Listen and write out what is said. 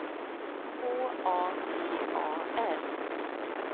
H A T A R